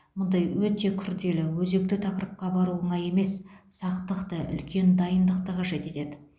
мұндай өте күрделі өзекті тақырыпқа бару оңай емес сақтықты үлкен дайындықты қажет етеді